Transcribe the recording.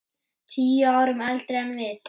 Tíu árum eldri en við.